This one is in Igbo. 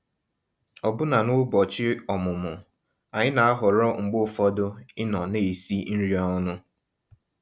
Ọ̀bụ́na n'ụ́bọ̀chị́ ọ̀mụ́mụ́, ànyị́ ná-àhọ̀rọ́ mgbe ụfọ̀dụ̀ ịnọ̀ ná-èsì nrí ọnụ́.